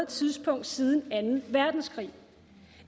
tidspunkt siden anden verdenskrig